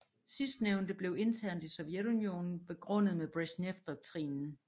Sidstnævnte blev internt i Sovjetunionen begrundet med Brezjnevdoktrinen